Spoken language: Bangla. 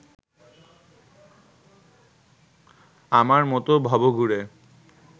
আমার মতো ভবঘুরে